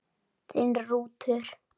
Þinn Rútur.